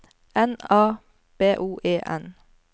N A B O E N